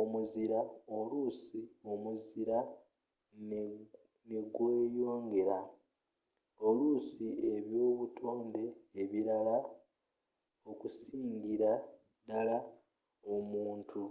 omuzira oluusi omuzira ne gweyongeera oluusi ebyobutonde ebirara okusingira ddala omuntu